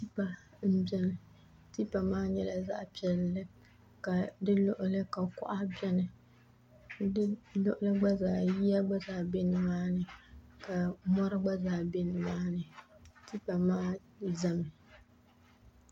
Tankpaŋ m-beni tipa maa nyɛla zaɣ' piɛlli ka di luɣili ni ka kuɣa beni di luɣili ni ka yiya gba zaa be ni maani ka mɔri gba zaa be ni maani tipa maa zami